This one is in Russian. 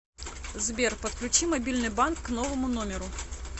сбер подключи мобильный банк к новому номеру